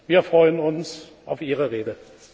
Wir freuen uns auf Ihre Rede.